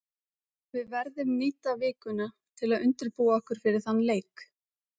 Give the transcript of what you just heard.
Við verðum nýta vikuna til að undirbúa okkur fyrir þann leik.